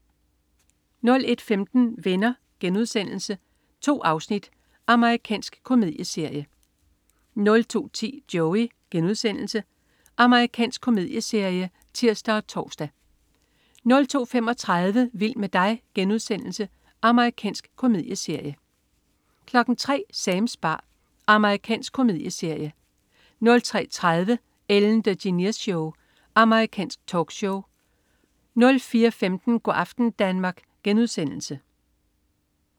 01.15 Venner.* 2 afsnit. Amerikansk komedieserie 02.10 Joey.* Amerikansk komedieserie (tirs og tors) 02.35 Vild med dig.* Amerikansk komedieserie 03.00 Sams bar. Amerikansk komedieserie 03.30 Ellen DeGeneres Show. Amerikansk talkshow 04.15 Go' aften Danmark*